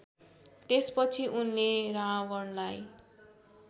त्यसपछि उनले रावणलाई